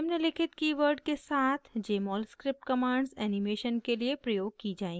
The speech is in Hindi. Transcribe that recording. निम्नलिखित keywords के साथ jmol script commands animations के लिए प्रयोग की जाएँगी